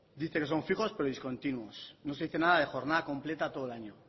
dice que son fijos pero discontinuos no se dice nada de jornada completa todo el año